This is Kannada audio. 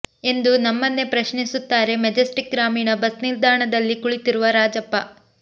ಎಂದು ನಮ್ಮನ್ನೇ ಪ್ರಶ್ನಿಸುತ್ತಾರೆ ಮೆಜೆಸ್ಟಿಕ್ ಗ್ರಾಮೀಣ ಬಸ್ ನಿಲ್ದಾಣದಲ್ಲಿ ಕುಳಿತಿರುವ ರಾಜಪ್ಪ